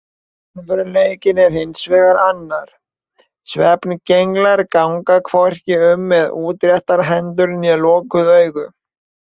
Raunveruleikinn er hins vegar annar: Svefngenglar ganga hvorki um með útréttar hendur né lokuð augun.